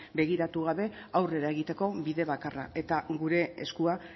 begiratu gabe aurrera egiteko bide bakarra eta gure eskua